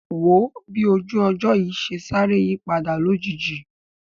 Wò ó bí ojú ọjọ́ yìí ṣe sáré yípadà lójijì